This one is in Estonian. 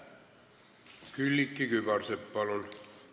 Külliki Kübarsepp, palun!